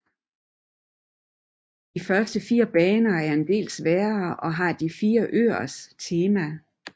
De første fire baner er del sværere og har de fire øers temaer